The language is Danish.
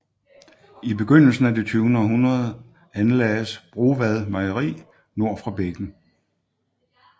I begyndelsen af det 20 århundrede anlagdes Brovad Mejeri nord for bækken